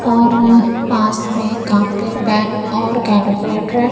और पास में कॉपी पेन और कैलकुलेटर है।